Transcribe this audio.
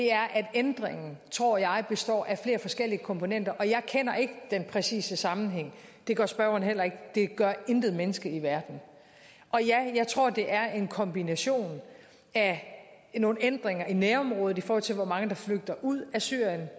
er at ændringen tror jeg består af flere forskellige komponenter jeg kender ikke den præcise sammenhæng det gør spørgeren heller ikke det gør intet menneske i verden ja jeg tror det er en kombination af nogle ændringer i nærområdet i forhold til hvor mange der flygter ud af syrien